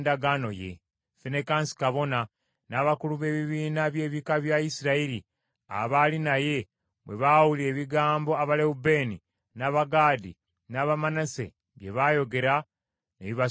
Finekaasi kabona, n’abakulu b’ebibiina by’ebika bya Isirayiri abaali naye bwe baawulira ebigambo Abalewubeeni, n’Abagaadi n’aba Manase bye bayogera, ne bibasanyusa nnyo.